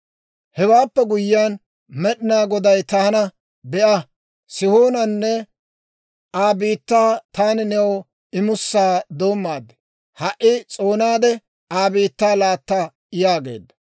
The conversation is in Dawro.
«Hewaappe guyyiyaan Med'inaa Goday taana, ‹Be'a, Sihoonanne Aa biittaa taani new imusaa doommaad; ha"i s'oonaade, Aa biittaa laatta› yaageedda.